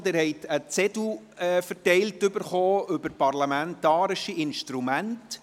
Sie haben einen Zettel verteilt bekommen zum Thema «parlamentarische Instrumente».